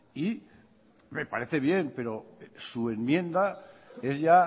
y me parece bien pero su enmienda es ya